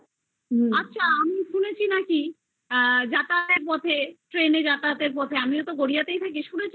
আচ্ছা আমি শুনেছি নাকি যাতায়তের পথে train এ যাতায়াত এর পথে আমিও তো গড়িয়া তাই থাকি